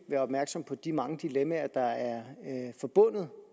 være opmærksomme på de mange dilemmaer der er forbundet